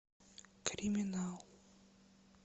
криминал